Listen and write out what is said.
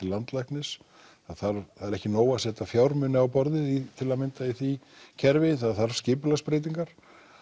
landlæknis það er ekki nóg að setja fjármuni á borðið til að mynda í því kerfi það þarf skipulagsbreytingar